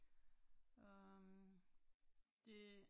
Øh, det